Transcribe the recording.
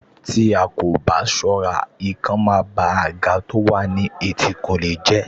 Tí a ò bá ṣọ́ra, ikán máa ba àga tó wà ní ẹ̀tìnkùlé jẹ́